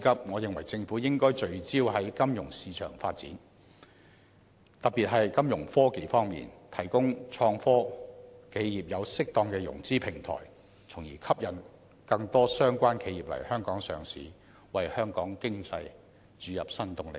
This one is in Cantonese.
我認為政府的當務之急是聚焦於金融市場發展，特別是在金融科技方面，為創科企業提供適當的融資平台，從而吸引更多相關企業來港上市，為香港經濟注入新動力。